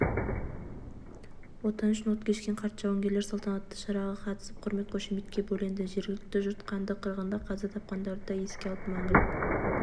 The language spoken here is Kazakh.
отан үшін от кешкен қарт жауынгерлер салтанатты шараға қатысып құрмет-қошеметке бөленді жергілікті жұрт қанды қырғында қаза тапқандарды да еске алып мәңгілік